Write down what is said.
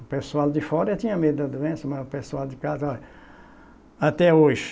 O pessoal de fora tinha medo da doença, mas o pessoal de casa, olha. Até hoje.